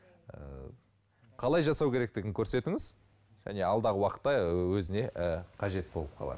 қалай жасау керектігін көрсетіңіз және алдағы уақытта өзіне ы қажет болып қалар